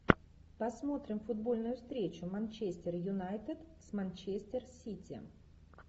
посмотрим футбольную встречу манчестер юнайтед с манчестер сити